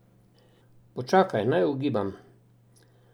Počakaj, naj ugibam!